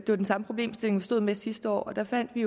den samme problemstilling vi stod med sidste år og der fandt vi